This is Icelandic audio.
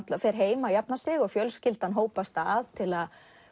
fer heim að jafna sig og fjölskyldan hópast að til að